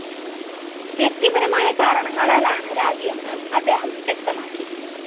വ്യക്തിപരമായ കാരണങ്ങളാലാണ് രാജിയെന്ന് അദ്ദേഹം വ്യക്തമാക്കി